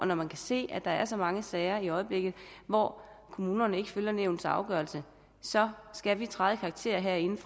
når man kan se at der er så mange sager i øjeblikket hvor kommunerne ikke følger nævnets afgørelse så skal vi træde i karakter herinde